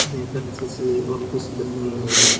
यहाँ एक अच्छी सी ऑफिस बनी हुई है।